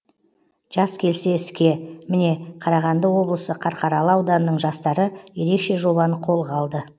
жас келсе іске міне қарағанды облысы қарқаралы ауданының жастары ерекше жобаны қолға алды